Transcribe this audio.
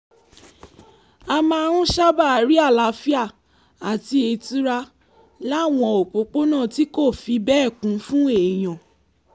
a máa ń sábà rí àlàáfíà àti ìtura láwọn òpópónà tí kò fi bẹ́ẹ̀ kún fún èèyàn